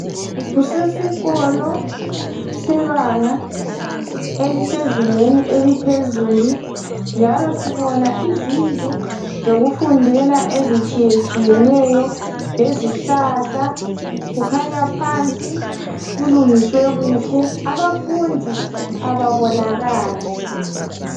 Kusesikolo sebanga elisezingeni eliphezulu njalo sibona izindlu zokufundela ezitshiyetshiyeneyo lezihlahla kukhanya phansi kulungiswe kuhle abafundi ababonakali.